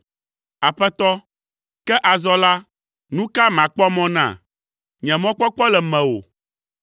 “Aƒetɔ, ke azɔ la, nu ka makpɔ mɔ na? Nye mɔkpɔkpɔ le mewò.